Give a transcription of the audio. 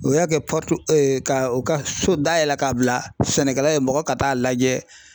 U y'a kɛ ka u ka so dayɛlɛ k'a bila sɛnɛkɛla ye mɔgɔ ka t'a lajɛ